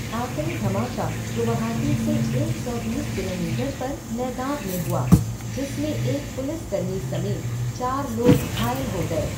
आख़िरी धमाका गुवाहाटी से एक सौ बीस किलोमीटर पर नैगाँव में हुआ, जिसमें एक पुलिसकर्मी समेत चार लोग घायल हो गए।